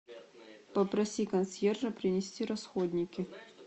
попроси консьержа принести расходники